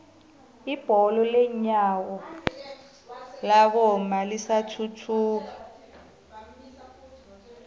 ibholo lenyawo labomma lisathuthuka